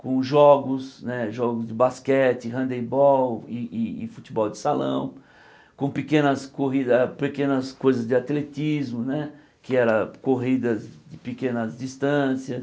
com jogos né jogos de basquete, handebol e e futebol de salão, com pequenas corridas pequenas coisas de atletismo né, que eram corridas de pequenas distâncias.